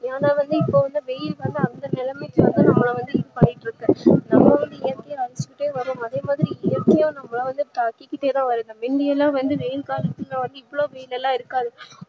ஏனா வந்து இப்ப வந்து வெயில் வந்து அந்த நிலமைக்கி நம்மல வந்து இதுபன்னிட்டே இருக்கு நம்ம வந்து இயர்க்கைய அழிச்சிட்டே வரோம் அதே மாதிரி தாக்கிகிட்டேதா வருது முந்தியல்லா வெயில் காலத்துல வந்து இவ்ளோ வெயிலல்லா இருக்காது